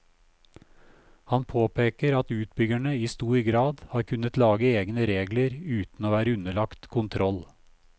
Han påpeker at utbyggerne i stor grad har kunnet lage egne regler uten å være underlagt kontroll.